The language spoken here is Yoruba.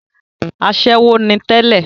asẹ́wó ni tẹ́lẹ̀